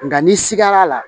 Nka ni sigara la